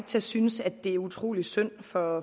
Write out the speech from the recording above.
til at synes at det er utrolig synd for